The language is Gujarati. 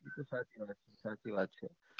એતો સાચી વાત છે સાચી વાત છે